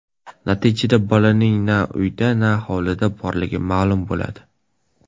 Natijada bolaning na uyda na hovlida borligi ma’lum bo‘ladi.